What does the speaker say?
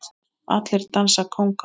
Allir dansa kónga